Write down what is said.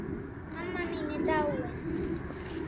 Mamma mín er dáin.